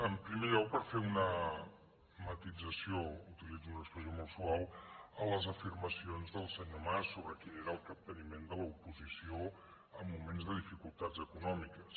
en primer lloc per fer una matisació utilitzo una expressió molt suau a les afirmacions del senyor mas sobre quin era el capteniment de l’oposició en moments de dificultats econòmiques